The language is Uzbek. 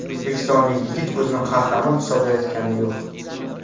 O‘zbekistonlik yigit o‘zini qahramon hisoblayotgani yo‘q.